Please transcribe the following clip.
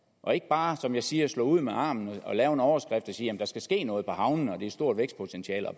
og ikke bare som jeg siger slå ud med armene og lave en overskrift der siger at der skal ske noget på havnene og er et stort vækstpotentiale og